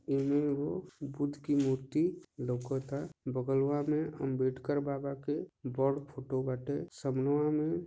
ई मे एक गो बूथ की मूर्ती लोकोता बगलवा मे अंबेडकर बाबा के बड़ फ़ोटो बाटे समनूवा में --